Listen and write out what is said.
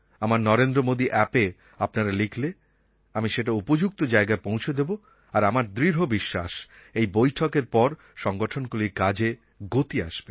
আমার নরেন্দ্র মোদী অ্যাপএ আপনারা লিখলে আমি সেটা উপযুক্ত জায়গায় পৌছে দেব আর আমার দৃঢ় বিশ্বাস এই বৈঠকএর পর সংগঠনগুলির কাজে গতি আসবে